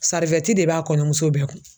de b'a kɔɲɔmuso bɛɛ kun